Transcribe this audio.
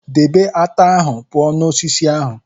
Debe ata ahụ pụọ na osisi ahụ!